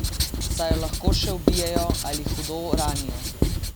Saj jo lahko še ubijejo ali hudo ranijo!